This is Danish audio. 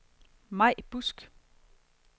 Mai Busk